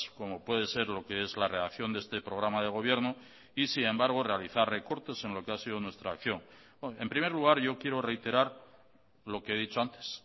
como puede ser lo que es la redacción de este programa de gobierno y sin embargo realizar recortes en lo que ha sido nuestra acción en primer lugar yo quiero reiterar lo que he dicho antes